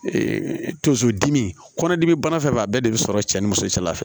tonso dimi kɔnɔdimi bana fɛn fɛn b'a bɛɛ de bi sɔrɔ cɛ ni muso cɛla fɛ